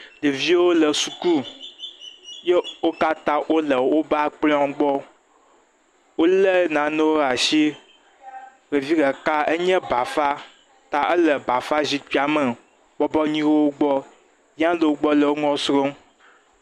ɖevio le suku eye wókatã wóle wóba kplɔ̃wo gbɔ wóle nanewo asi levi leka enye bafa ta éle bafa zikpia me bɔbɔyi ye wogbɔ ya lowo gbɔ le ŋu srɔm